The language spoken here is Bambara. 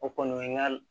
O kɔni ye n ka